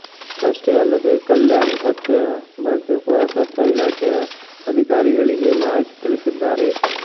ಅಷ್ಟೇ ಅಲ್ಲದೇ ಕಲ್ಯಾಣಿ ಪತ್ತೆಯ ಬಗ್ಗೆ ಪುರಾತತ್ವ ಇಲಾಖೆಯ ಅಧಿಕಾರಿಗಳಿಗೆ ಮಾಹಿತಿ ತಿಳಿಸಿದ್ದಾರೆ